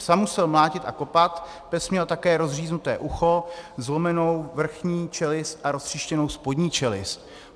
Psa musel mlátit a kopat, pes měl také rozříznuté ucho, zlomenou vrchní čelist a roztříštěnou spodní čelist.